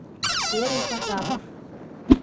серый потапов